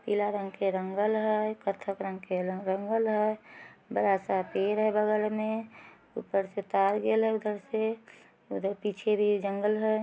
पीला रंग के रंगल हेय कत्थक रंग के रंगल हेय। बड़ा-सा पेड़ है बगल में। ऊपर से तार गेल है उधर से । उधर पीछे भी एक जंगल है।